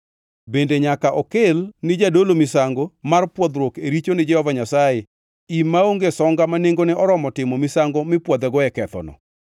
Bende nyaka okel ni jadolo misango mar pwodhruok e richo ni Jehova Nyasaye im maonge songa ma nengone oromo timo misango mipwodhego e kethoneno.